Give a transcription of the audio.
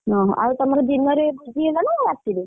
ଓହୋ ଆଉ ତମର ଦିନରେ ଭୋଜି ହେଲାନା ରାତିରେ?